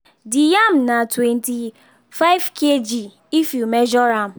the yam na twenty-five kg if you measure am